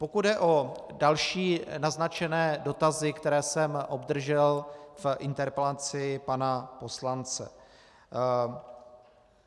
Pokud jde o další naznačené dotazy, které jsem obdržel v interpelaci pana poslance.